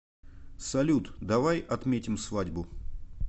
салют давай отметим свадьбу